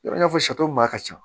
I n'a fɔ maa ka ca